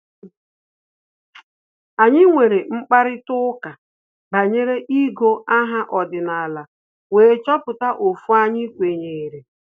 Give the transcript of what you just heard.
Anyị nwere mkparịta ụka banyere igọ aha ọdịnala wee chọpụta ofu anyị kwenyere